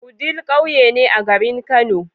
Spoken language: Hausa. wudil ƙauye ne a garin kano